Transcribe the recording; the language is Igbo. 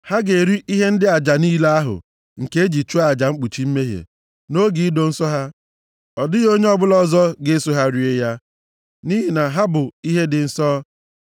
Ha ga-eri ihe ndị aja niile ahụ nke e ji chụọ aja mkpuchi mmehie, nʼoge ido nsọ ha. Ọ dịghị onye ọbụla ọzọ ga-eso ha rie ya, nʼihi na ha bụ ihe dị nsọ.